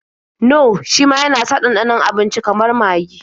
Nor shima yana sa ɗanɗanon abinici kamar magi.